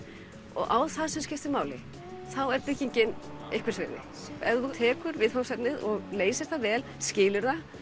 og á það sem skiptir máli þá er byggingin einhvers virði ef þú tekur viðfangsefnið og leysir það vel skilur það